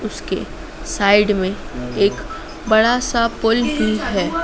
उसके साइड में एक बड़ा सा पुल भी है।